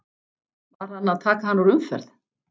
Var hann að taka hann úr umferð?